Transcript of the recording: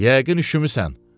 Yəqin üşümüsən.